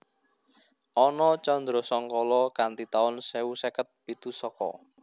Ana candrasangkala kanthi taun sewu seket pitu Saka